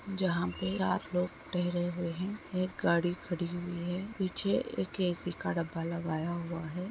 जहां पे रात लोग ठहरे हुए हैं। एक गाड़ी खड़ी हुई है। पीछे एक ऐसी का डब्बा लगाया हुआ है।